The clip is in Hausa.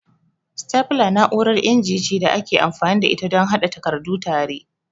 Stapler na'urar inji ce da ake amfani da ita don haɗe takardu tare.